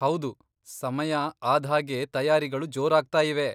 ಹೌದು, ಸಮಯ ಆದ್ಹಾಗೆ ತಯಾರಿಗಳು ಜೋರಾಗ್ತಾಯಿವೆ.